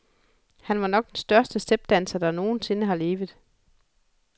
Han var nok den bedste stepdanser, der nogen sinde har levet.